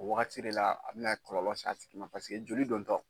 O wagati de la a bɛna kɔlɔlɔ se a tigi ma paseke joli dontɔ.